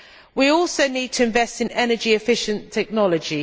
We also need to invest in energy efficient technology.